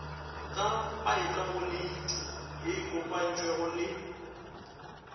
ka paekhaponeiti ye kopantšwego le